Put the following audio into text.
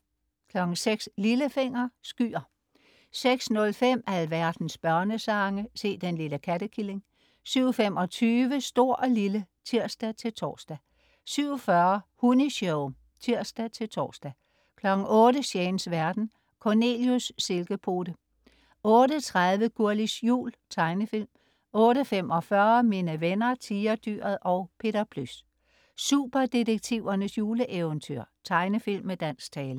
06.00 Lillefinger. Skyer 06.05 Alverdens børnesange. Se den lille kattekilling 07.25 Stor & Lille (tirs-tors) 07.40 Hunni-show (tirs-tors) 08.00 Shanes verden. Cornelius Silkepote 08.30 Gurlis Jul. Tegnefilm 08.45 Mine venner Tigerdyret og Peter Plys. Superdetektivernes juleeventyr. Tegnefilm med dansk tale